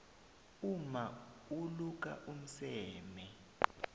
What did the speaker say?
umma uluka umseme